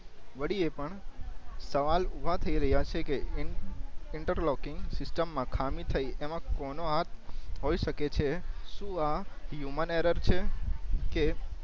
વળી એ પણ સવાલ ઊભા થઈ રયા છે કે ઇન્ટઇનટરલોકઇંગ સિસ્ટમ માં ખામી થઈ એમાં કોનો હાથ હોય સકે છે શું આ હ્યૂમન એરર્ છે કે